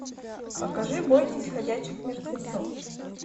покажи бойтесь ходячих мертвецов